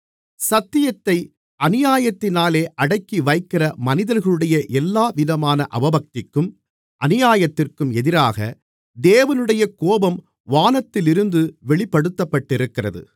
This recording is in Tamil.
சத்தியத்தை அநியாயத்தினாலே அடக்கிவைக்கிற மனிதர்களுடைய எல்லாவிதமான அவபக்திக்கும் அநியாயத்திற்கும் எதிராக தேவனுடைய கோபம் வானத்திலிருந்து வெளிப்படுத்தப்பட்டிருக்கிறது